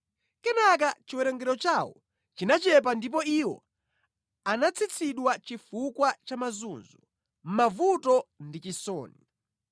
Kenaka chiwerengero chawo chinachepa ndipo iwo anatsitsidwa chifukwa cha mazunzo, mavuto ndi chisoni;